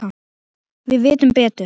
Við vitum betur.